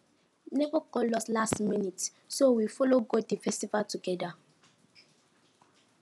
neighbor call us last minute so we follow go di festival together